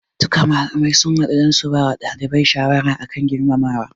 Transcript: Duka malamai sun hadu dan su bawa ɗalibai shawara akan girmamawa